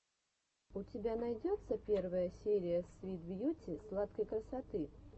у тебя найдется первая серия свит бьюти сладкой красоты